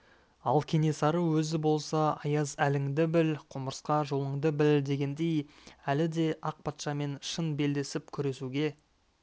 ал кенесары өзі болса аяз әліңді біл құмырсқа жолыңды біл дегендей әлі де ақ патшамен шын белдесіп күресуге